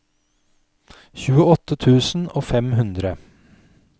tjueåtte tusen og fem hundre